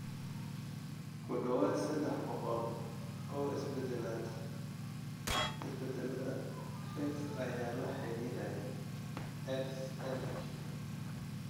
Ku dhawaad ​​sedex boqool oo isbeddellada PHEX ayaa lala xiriiriyay XLH.